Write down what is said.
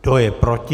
Kdo je proti?